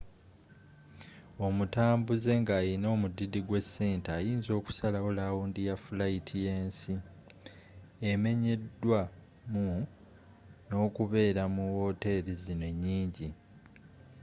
omutambuuze nga alina omudidi gwesente ayinza okusalawo lawundi ya fulayiti yensi emenyedwa mu nokubeera mu woteri zino enyingi